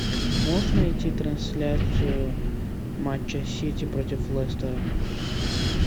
можешь найти трансляцию матча сити против лестера